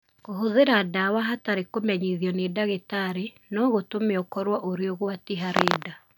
Kũhũthĩra ndawa hatarĩ kũmenyithio nĩ ndagĩtarĩ no gũtũme ũkorũo ũrĩ ũgwati harĩ nda